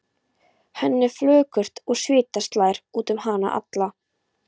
Henni er flökurt og svita slær út um hana alla.